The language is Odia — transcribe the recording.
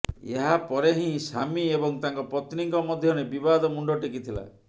ଏହାପରେ ହିଁ ସାମୀ ଏବଂ ତାଙ୍କ ପତ୍ନୀଙ୍କ ମଧ୍ୟରେ ବିବାଦ ମୁଣ୍ଡ ଟେକିଥିଲା